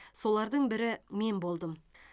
солардың бірі мен болдым